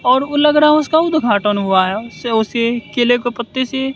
और उ लग रहा है उसका उद्घाटन हुआ है सेव से केले के पत्ते से--